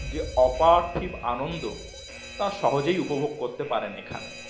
যে অপার্থিব আনন্দ তার সহজেই উপভোগ করতে পারেন এখানে